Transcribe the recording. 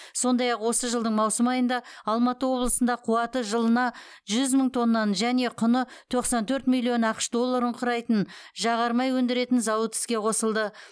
сондай ақ осы жылдың маусым айында алматы облысында қуаты жылына жүз мың тоннаны және құны тоқсан төрт миллион ақш долларын құрайтын жағармай өндіретін зауыт іске қосылды